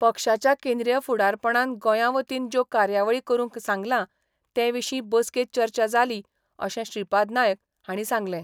पक्षाच्या केंद्रीय फुडारपणान गोंयां वतीन ज्यो कार्यावळी करूंक सांगलां ते विशीं बसकेंत चर्चा जाली अशें श्रीपाद नायक हांणी सांगलें.